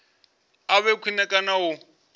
a vhe khwine kana u